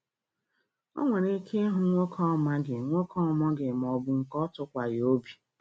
O nwere ike ịhụ nwoke ọ maghị nwoke ọ maghị maọbụ nke ọ tụkwaghị obi